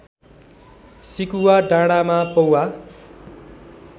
सिकुवा डाँडाँमा पौवा